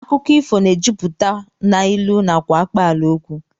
Akụkọ ifo na-ejupụta n'ilu nakwa akpaalaokwu